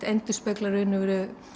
endurspeglar í raun og veru